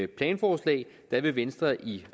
planforslag vil venstre i